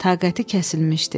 Taqəti kəsilmişdi.